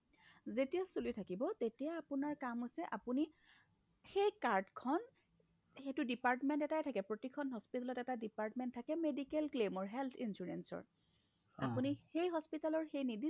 যেতিয়া চলি থাকিব তেতিয়া আপোনাৰ কাম হৈছে আপুনি সেই cardখন সেইটো department এটায়ে থাকে প্ৰতিখন hospitalত এটা department থাকে medical claim ৰ health insurance ৰ আপুনি সেই hospitalৰ সেই নিৰ্দিষ্ট